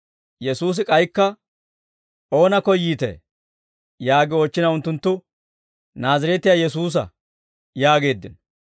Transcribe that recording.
Yesuusi k'aykka, «Oona koyyiitee?» Yaagi oochchina unttunttu, «Naazireetiyaa Yesuusa» yaageeddino.